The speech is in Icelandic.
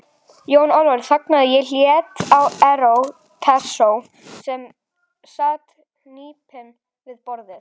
Jón Ólafur þagnaði og leit á Herra Toshizo sem sat hnípinn við borðið.